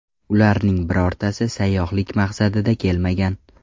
Ularning birortasi sayyohlik maqsadida kelmagan.